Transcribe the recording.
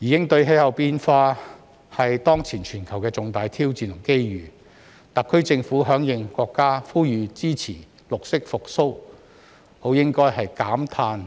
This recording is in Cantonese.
應對氣候變化是當前全球的重大挑戰和機遇，特區政府響應國家呼籲支持"綠色復蘇"，理應減碳